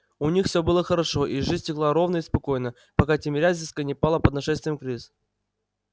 у них всё было хорошо и жизнь текла ровно и спокойно пока тимирязевская не пала под нашествием крыс